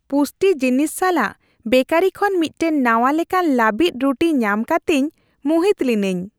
ᱯᱩᱥᱴᱤ ᱡᱤᱱᱤᱥ ᱥᱟᱞᱟᱜ ᱵᱮᱠᱟᱨᱤ ᱠᱷᱚᱱ ᱢᱤᱫᱴᱟᱝ ᱱᱟᱣᱟ ᱞᱮᱠᱟᱱ ᱞᱟᱹᱵᱤᱫ ᱨᱩᱴᱤ ᱧᱟᱢ ᱠᱟᱛᱮᱧ ᱢᱩᱦᱤᱛ ᱞᱤᱱᱟᱹᱧ ᱾